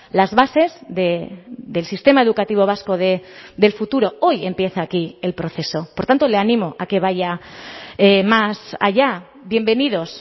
las bases del sistema educativo vasco del futuro hoy empieza aquí el proceso por tanto le animo a que vaya más allá bienvenidos